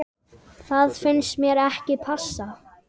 Það finnst mér ekki passa.